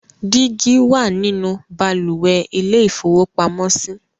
Dígí wà nínú balùwẹ̀ ilé-ìfowópamọ́sí.